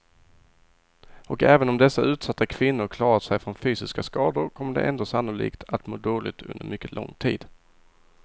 Och även om dessa utsatta kvinnor klarat sig från fysiska skador kommer de ändå sannolikt att må dåligt under mycket lång tid.